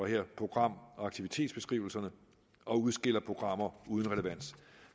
her program og aktivitetsbeskrivelserne og udskiller programmer uden relevans